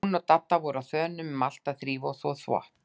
Hún og Dadda voru á þönum um allt að þrífa og þvo þvott.